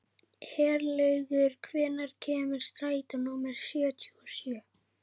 Herlaugur, hvenær kemur strætó númer fjörutíu og sjö?